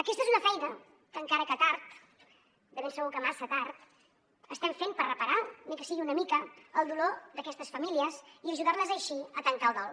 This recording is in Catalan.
aquesta és una feina que encara que tard de ben segur que massa tard estem fent per reparar ni que sigui una mica el dolor d’aquestes famílies i ajudar les així a tancar el dol